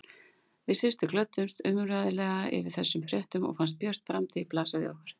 Við systur glöddumst óumræðilega yfir þessum fréttum og fannst björt framtíð blasa við okkur.